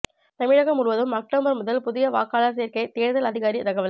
தமிழகம் முழுவதும் அக்டோபர் முதல் புதிய வாக்காளர் சேர்க்கை தேர்தல் அதிகாரி தகவல்